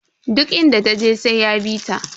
Duk inda taje sai ya bita.